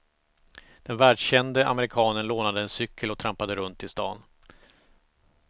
Den världskände amerikanen lånade en cykel och trampade runt i staden.